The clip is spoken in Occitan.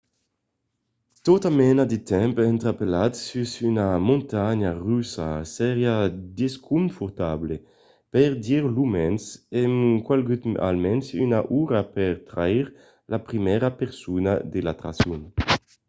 tota mena de temps entrapelat sus una montanha russa seriá desconfortable per dire lo mens e calguèt almens una ora per traire la primièra persona de l'atraccion.